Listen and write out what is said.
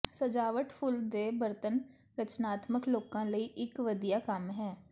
ਸਜਾਵਟ ਫੁੱਲ ਦੇ ਬਰਤਨ ਰਚਨਾਤਮਕ ਲੋਕਾਂ ਲਈ ਇਕ ਵਧੀਆ ਕੰਮ ਹੈ